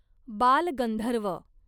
Balgandharva